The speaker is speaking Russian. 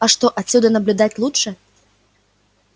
а что отсюда наблюдать лучше